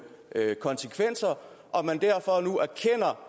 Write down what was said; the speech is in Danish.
konsekvenser og